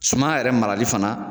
Suman yɛrɛ marali fana.